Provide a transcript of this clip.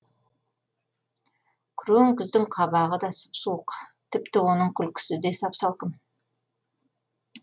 күрең күздің қабағы да сұп суық тіпті оның күлкісі де сап салқын